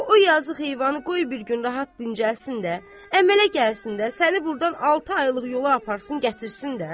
Axı o yazıq heyvanı qoy bir gün rahat dincəlsin də, əmələ gəlsin də, səni burdan altı aylıq yola aparsın, gətirsin də!